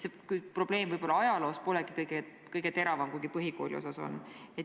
Nii et võib-olla ajaloos see probleem polegi kõige teravam, kuigi põhikooliosas on.